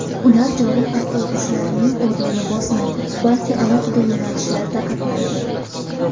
Ular joriy avtobuslarning o‘rnini bosmaydi, balki alohida yo‘nalishlarda qatnaydi.